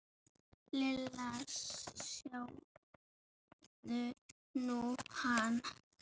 Lilla, sjáðu nú hann.